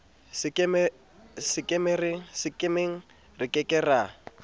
sekemeng re ke ke ra